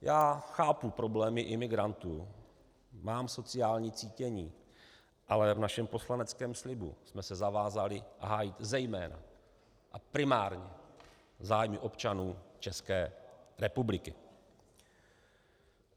Já chápu problémy imigrantů, mám sociální cítění, ale v našem poslaneckém slibu jsme se zavázali hájit zejména a primárně zájmy občanů České republiky.